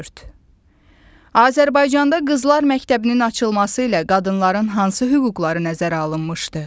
Azərbaycanda Qızlar Məktəbinin açılması ilə qadınların hansı hüquqları nəzərə alınmışdı?